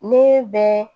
Ne bɛ